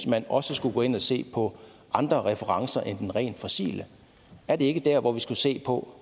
man også skulle gå ind at se på andre referencer end den rent fossile er det ikke der hvor vi skulle se på